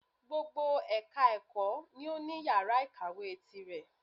Gbogbo ẹka ẹ̀kọ́ ni o ní yàrá ìkàwé tirẹ̀.